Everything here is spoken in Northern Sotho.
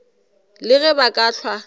le ge ba ka hlwa